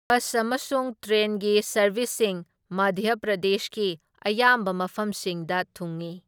Bus ꯑꯃꯁꯨꯡ ꯇ꯭ꯔꯦꯟꯒꯤ ꯁꯔꯕꯤꯁꯁꯤꯡ ꯃꯙ꯭ꯌ ꯄ꯭ꯔꯗꯦꯁꯀꯤ ꯑꯌꯥꯝꯕ ꯃꯐꯝꯁꯤꯡꯗ ꯊꯨꯡꯢ꯫